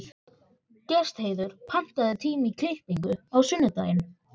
Gestheiður, pantaðu tíma í klippingu á sunnudaginn.